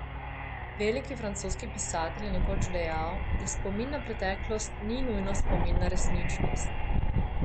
Velik francoski pisatelj je nekoč dejal, da spomin na preteklost ni nujno spomin na resničnost.